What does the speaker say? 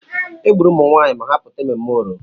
Egburu ụmụnwaanyị ma ha pụta emume Oro.